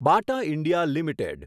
બાટા India limited